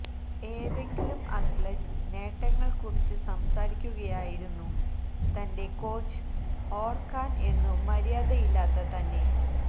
ഏതെങ്കിലും അത്ലറ്റ് നേട്ടങ്ങൾ കുറിച്ച് സംസാരിക്കുകയായിരുന്നു തന്റെ കോച്ച് ഓർക്കാൻ എന്നു മരാദയില്ലാത്ത തന്നെ